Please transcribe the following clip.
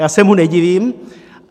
Já se mu nedivím.